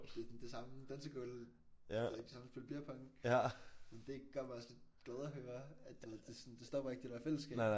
Det den det samme dansegulv det samme spille beer pong men det gør mig også lidt glad at høre at du ved det sådan det stopper ikke det der fællesskab